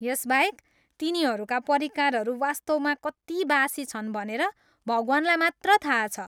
यसबाहेक, तिनीहरूका परिकारहरू वास्तवमा कति बासी छन् भनेर भगवानलाई मात्र थाहा छ।